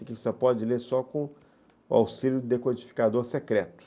Aquilo você pode ler só com o auxílio do decodificador secreto.